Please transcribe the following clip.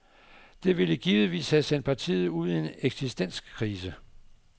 Det ville givetvis have sendt partiet ud i en eksistenskrise.